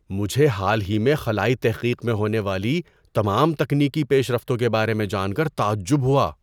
مجھے حال ہی میں خلائی تحقیق میں ہونے والی تمام تکنیکی پیش رفتوں کے بارے میں جان کر تعجب ہوا۔